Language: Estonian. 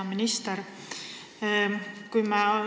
Hea minister!